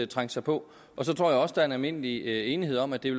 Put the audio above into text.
trængte sig på så tror jeg også at der er almindelig enighed om at det